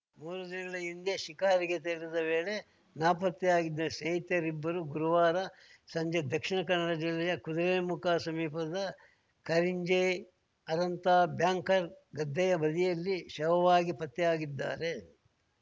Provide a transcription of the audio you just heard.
ಮೂರು ದಿನಗಳ ಹಿಂದೆ ಶಿಕಾರಿಗೆ ತೆರಳಿದ್ದ ವೇಳೆ ನಾಪತ್ತೆಯಾಗಿದ್ದ ಸ್ನೇಹಿತರಿಬ್ಬರು ಗುರುವಾರ ಸಂಜೆ ದಕ್ಷಿಣ ಕನ್ನಡ ಜಿಲ್ಲೆಯ ಕುದುರೆಮುಖ ಸಮೀಪದ ಕರಿಂಜೆ ಅರಂತ ಬ್ಯಾಂಕರ್ ಗದ್ದೆಯ ಬದಿಯಲ್ಲಿ ಶವವಾಗಿ ಪತ್ತೆಯಾಗಿದ್ದಾರೆ